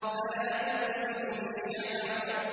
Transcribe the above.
فَلَا أُقْسِمُ بِالشَّفَقِ